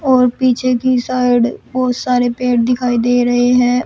और पीछे की साइड बहुत सारे पेड़ दिखाई दे रहे हैं।